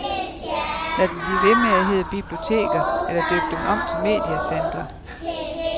Lad dem blive ved med at hedde biblioteker, eller døb dem om til mediecentre.